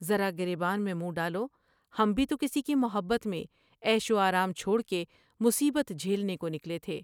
ذرا گر بیان میں منہ ڈالو ہم بھی تو کسی کی محبت میں عیش و آرام چھوڑ کے مصیبت جھیلنے کو نکلے تھے ۔